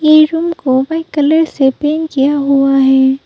ई room को white colour से paint किया हुआ है।